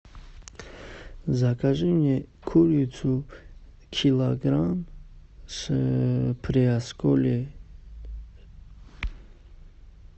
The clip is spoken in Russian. закажи мне курицу килограмм с приосколье